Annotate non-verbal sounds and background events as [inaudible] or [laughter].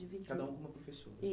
[unintelligible] Cada uma com uma professora.